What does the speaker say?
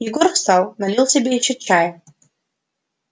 егор встал налил себе ещё чая